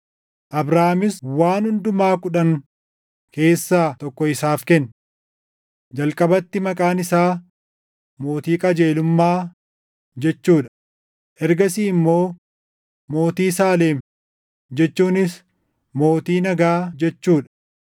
Abrahaamis waan hundumaa kudhan keessaa tokko isaaf kenne. Jalqabatti maqaan isaa, “Mootii qajeelummaa” jechuu dha; ergasii immoo, “Mootii Saalem” jechuunis, “Mootii nagaa” jechuu dha.